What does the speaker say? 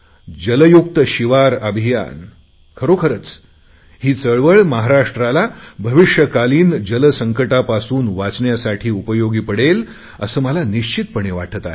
जलयुक्त शिवार अभियान खरोखरच ही चळवळ महाराष्ट्राला भविष्यकालीन जलसंकटांपासून वाचवण्यासाठी उपयोगी पडेल असे मला निश्चितपणे वाटते आहे